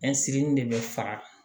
de bɛ fara